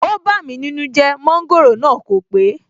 ó bámi nínú jẹ́, Mọ́ńgòrò náà kò pé